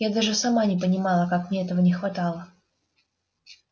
я даже сама не понимала как мне этого не хватало